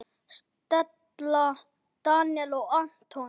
Stella, Daníel og Anton.